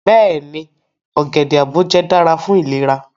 Beeni, ogede aboje dara fun ilera